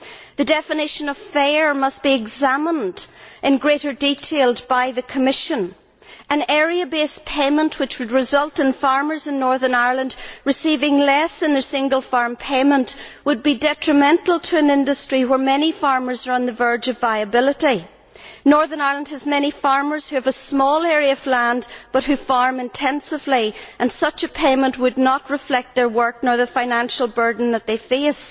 The definition of fair must be examined in greater detail by the Commission and area based payment which would result in farmers in Northern Ireland receiving less in their single farm payment would be detrimental to an industry where many farmers are on the verge of viability. Northern Ireland has many farmers who have a small area of land, but who farm intensively, and such a payment would neither reflect their work nor the financial burden they face.